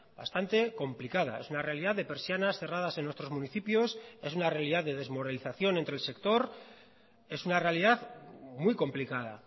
bastante complicada es una realidad de persianas cerradas en nuestros municipios es una realidad de desmoralización entre el sector es una realidad muy complicada